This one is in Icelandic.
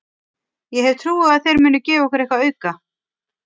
Ég hef trú á að þeir muni gefa okkur eitthvað auka.